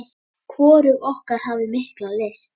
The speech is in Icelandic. Hvorug okkar hafði mikla lyst.